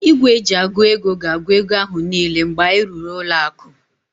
Igwe eji agụ ego gs-agu ego ahu niile mgbe anyị rụrụ ụlọ aku